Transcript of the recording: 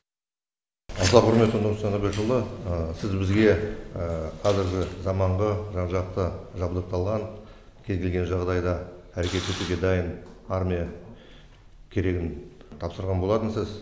аса құрметті нұрсұлтан әбішұлы сіз бізге қазіргі заманғы жан жақты жабдықталған кез келген жағдайда әрекет етуге дайын армия керегін тапсырған болатынсыз